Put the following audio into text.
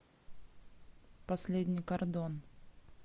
последний кордон